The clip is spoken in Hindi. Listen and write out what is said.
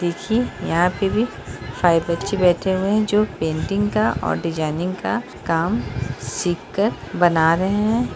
देखिये यहाँ पे भी सारे बच्चे बैठे हुए हैं जो पेंटिंग का और डिजाइनिंग का काम सीख कर बना रहे हैं।